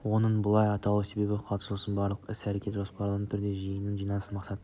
оның бұлай аталу себебі қатысушылардың барлық іс-әрекеті жоспарлы түрде осы жиынның жиналыстың мақсат